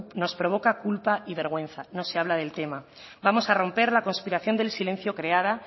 no provoca culpa y vergüenza no se habla del tema vamos a romper la conspiración del silencio creada